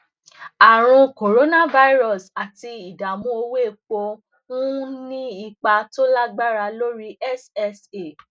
àrùn coronavirus àti ìdààmú owó epo ń ní ipa tó lágbára lórí ssa